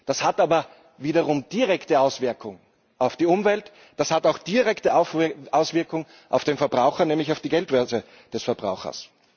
Das hat aber wiederum direkte Auswirkungen auf die Umwelt, das hat auch direkte Auswirkungen auf den Verbraucher, nämlich auf die Geldbörse des Verbrauchers.